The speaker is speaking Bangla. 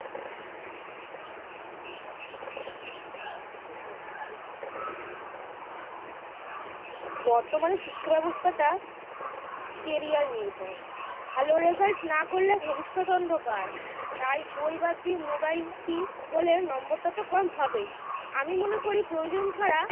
বর্তমানে শিক্ষাব্যবস্থাটা career নির্ভর ভালো result না করলে ভবিষ্যত অন্ধকার তাই বই বাদ দিয়ে mobile মুখী হলে নম্বরটা তো কম হবেই আমি মনে করি প্রয়োজন ছাড়া